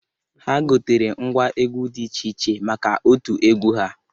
Ha gotere ngwa egwu dị iche iche maka otu egwu ha.